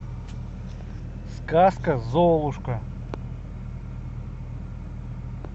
сказка золушка